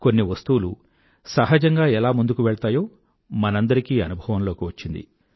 కొన్ని వస్తువులు సహజంగా ఎలా ముందుకు వెళ్తాయో మనందరికీ అనుభవంలోకి వచ్చింది